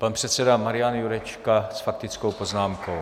Pan předseda Marian Jurečka s faktickou poznámkou.